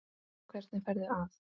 Hvernig ferðu að?